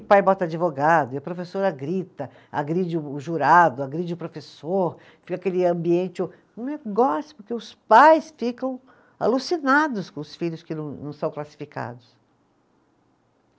E pai bota advogado, e a professora grita, agride o o jurado, agride o professor, fica aquele ambiente o, um negócio, porque os pais ficam alucinados com os filhos que não, não são classificados.